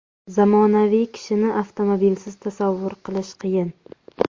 Zamonaviy kishini avtomobilsiz tasavvur qilish qiyin.